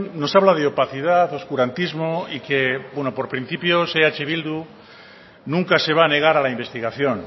nos habla de opacidad oscurantismo y que bueno por principios eh bildu nunca se va a negar a la investigación